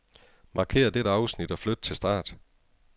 Markér dette afsnit og flyt til start.